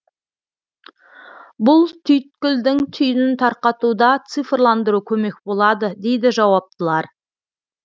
бұл түйткілдің түйінін тарқатуда цифрландыру көмек болады дейді жауаптылар